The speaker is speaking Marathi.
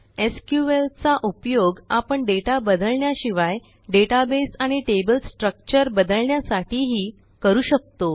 SQLचा उपयोग आपण डेटा बदलण्याशिवाय डेटाबेस आणि टेबल स्ट्रक्चर बदलण्यासाठीही करू शकतो